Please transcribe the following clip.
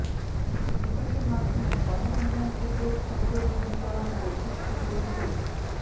বিকাশের মাধ্যমে গণ উন্নয়ন কেন্দ্রের ক্ষুদ্রঋণ বিতরণ ও কিস্তি পরিশোধ